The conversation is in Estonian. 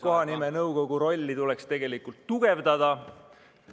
... kohanimenõukogu rolli tuleks tegelikult tugevdada.